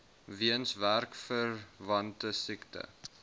weens werksverwante siekte